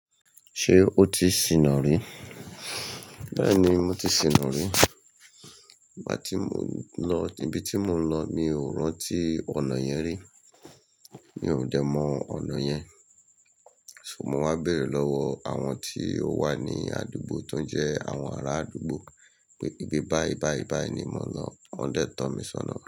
Ṣé o ti ṣìnà rí? Bẹ́ẹ̀ni, mo ti ṣìnà rí. Igbá tí mo n lọ ibi tí mo n lọ, mi ò rántí ọ̀nà yẹn rí. Mi ò dẹ̀ mọ ọ̀nà yẹn. So mo wá bèrè lọ́wọ́ àwọn tí ó wà ní àdúgbò tó jẹ́ àwọn ará àdúgbò pé ibi báyi báyi báyi ni mò ń lọ. Wọ́n dẹ̀ tọ́ mi sọ́nà.